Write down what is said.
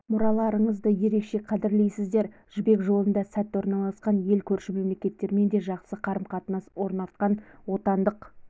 мұраларыңызды ерекше қадірлейсіздер жібек жолында сәтті орналасқан ел көрші мемлекеттермен де жақсы қарым-қатынас орнатқан отандық